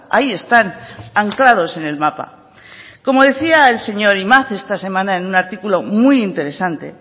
ahí están anclados en el mapa como decía el señor imaz esta semana en un artículo muy interesante